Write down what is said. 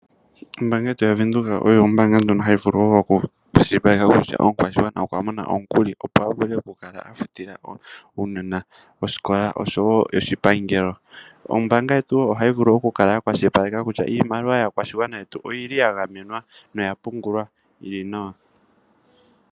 Ombanga yetu ya Venduka oyo ombanga ndjoka hayi vulu oku kwashilipaleka kutya omukwashigwana okwa mona omukuli, opo avule oku kala afutila uunona oskola osho wo oshipangelo. Ombanga yetu ohayi vulu oku kwashilipaleke kutya iimaliwa yaakwashigwana yetu oyili ya gamenwa noya pungulwa yili nawa.